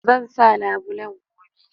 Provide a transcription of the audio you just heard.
Zan sa labulen gobe